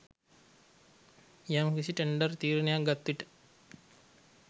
යම්කිසි ටෙන්ඩර් තීරණයක් ගත්විට